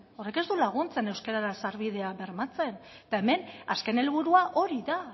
ez du laguntzen euskarara sarbidea bermatzen eta hemen azken helburua hori da